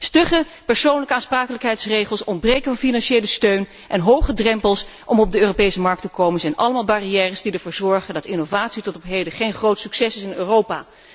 Stugge persoonlijke aansprakelijkheidsregels, ontbreken van financiële steun en hoge drempels om op de Europese markt te komen zijn allemaal barrières die ervoor zorgen dat innovatie tot op heden geen groot succes is geweest in Europa.